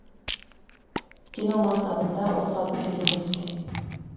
кино мансабында отыз алты фильмге түскен